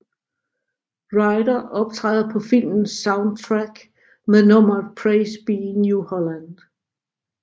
Ryder optræder på filmens soundtrack med nummeret Praise Be New Holland